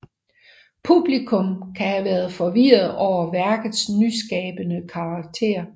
Publikum kan have været forvirret over værkets nyskabende karakter